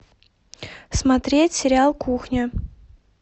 смотреть сериал кухня